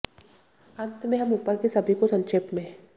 अंत में हम ऊपर के सभी को संक्षेप में